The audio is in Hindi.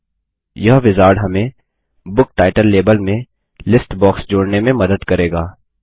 अब यह विजार्ड हमें बुक टाइटल लेबल में लिस्ट बॉक्स जोड़ने में मदद करेगा